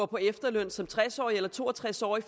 på efterløn som tres årig eller to og tres årig